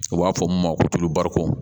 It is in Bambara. U b'a fɔ mun ma ko tobari ko